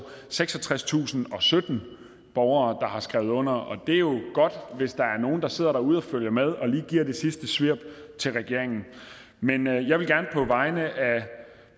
seksogtredstusinde og sytten borgere der har skrevet under det er jo godt hvis der er nogle der sidder derude og følger med lige giver det sidste svirp til regeringen men jeg vil gerne på vegne